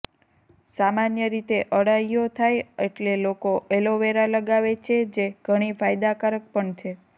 સામાન્ય રીતે અળાઈઓ થાય એટલે લોકો એલોવેરા લગાવે છે જે ઘણી ફાયદાકારક પણ છે